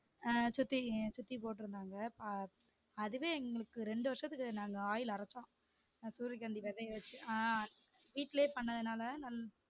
அஹ் சுத்தி சுத்தி போட்டுருந்தாங்க அதுவே எங்களுக்கு ரெண்டு வருஷத்துக்கு நாங்க oil அரச்சோம் சூரியகாந்தி விதைய வச்சு ஆஹ் வீட்டுலயே பண்ணதுனால